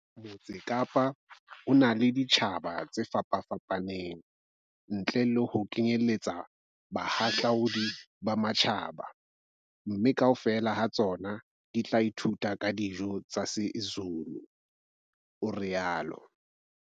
Motse Kapa o na le ditjhaba tse fapafapaneng, ntle le ho kenyeletsa bahahlaudi ba matjhaba, mme kaofela ha tsona di tla ithuta ka dijo tsa isiZulu, o rialo